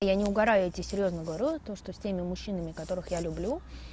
я не угораю я тебе серьёзно говорю то что с теми мужчинами которых я люблю